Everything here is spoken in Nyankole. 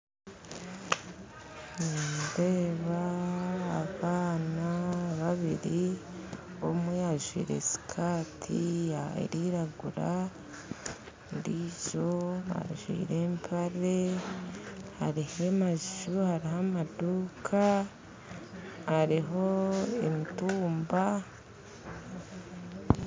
Nindeeba abaana babiiri omwe ajwire sikati erikwiragura ondijo ajwire empare hariho amaju hariho amaduuka hariho emitumba